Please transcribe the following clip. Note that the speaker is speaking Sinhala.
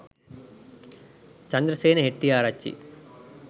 chandrasena hettiarachchi